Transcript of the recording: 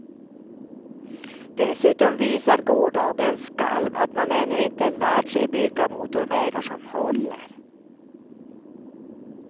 Dessutom visar gårdagens skalv att man ännu inte lärt sig bygga motorvägar som håller.